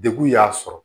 Degun y'a sɔrɔ